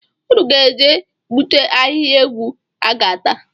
Unu ga-eje gbute ahịhịa ewu a ga-ata